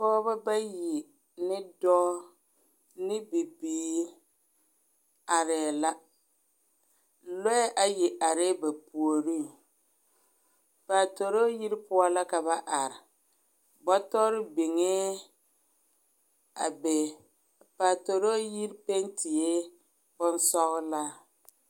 Pɔgeba bayi ne dɔɔ ne bibiiri arɛɛ la, lɔɛ ayi arɛɛ ba puoriŋ. Paatoroo yiri poɔ la ka ba are. Bɔtɔre biŋee a be. Apaatoroo yir pentie bonsɔgelaa.